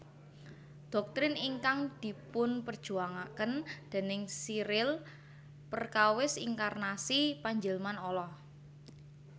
Dhoktrin ingkang dipunperjuwangaken déning Cyril perkawis inkarnasi panjilman Allah